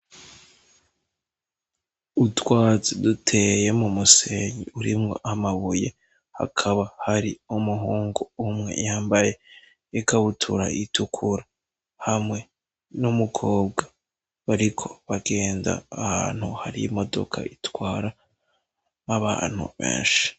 Utwatsi duteye mu musenyi urimwo amabuye hakaba hari umuhungu umwe yambaye ikabutura itukura hamwe n'umukobwa bariko bagenda ahantu hari imodoka itwara abantu benshi.